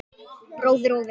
Bróðir og vinur.